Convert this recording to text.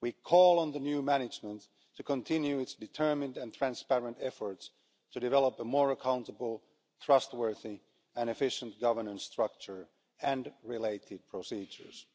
We called on the new management to continue its determined and transparent efforts to develop a more accountable, trustworthy and efficient governance structure and related procedures.